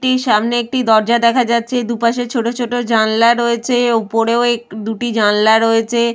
টির সামনে একটি দরজা দেখা যাচ্ছেদুপাশে ছোট ছোট জানলা রয়েছে। ওপরেও এক দুটি জানলা রয়েছে।